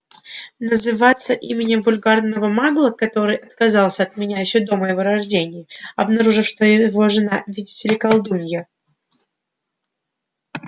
называться именем вульгарного магла который отказался от меня ещё до моего рождения обнаружив что его жена видите ли колдунья